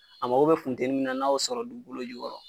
A mago be funteni min na, n'a y'o sɔrɔ dugukolo jukɔrɔ